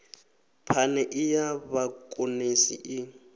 phane e ya vhakonesi i